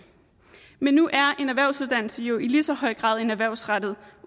men nu er en erhvervsuddannelse jo i lige så høj grad en erhvervsrettet